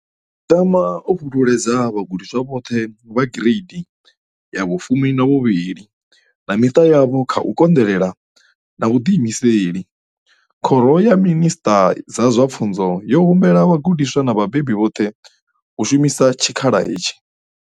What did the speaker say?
Ndi tama u fhululedza vhagudiswa vhoṱhe vha gireidi 12 na miṱa yavho kha u konḓelela na vhuḓiimiseli. Khoro ya Minisṱa dza zwa Pfunzo yo humbela vhagudiswa na vhabebi vhoṱhe u shumisa tshikhala hetshi.